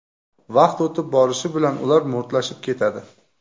Vaqt o‘tib borishi bilan ular mo‘rtlashib ketadi.